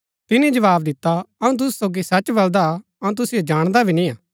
तिनी जवाव दिता अऊँ तुसु सोगी सच बलदा अऊँ तुसिओ जाणदा भी निय्आ